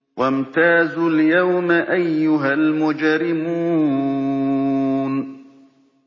وَامْتَازُوا الْيَوْمَ أَيُّهَا الْمُجْرِمُونَ